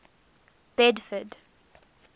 bedford